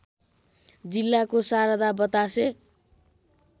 जिल्लाको शारदा बतासे